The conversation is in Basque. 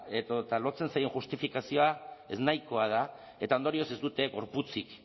edota lotzen zaion justifikazioa eznahikoa da eta ondorioz ez dute gorputzak